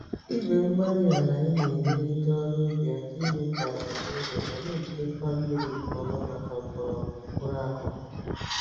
igwe-mgbárí-alai na-enyere ndị ọrụ ubi aka ime ka àlà dị nro ma n'ejidekwa mmírí nke ọma màkà mgbọrọgwụ mkpụrụ akụkụ